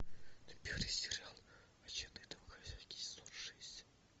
набери сериал отчаянные домохозяйки сезон шесть